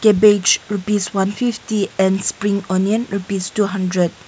cabbage rupees one fifty and spring onion rupees two hundred.